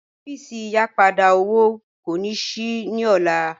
Ọfíísì ìyìpadà owó kìí yóò ṣíí ní ọlá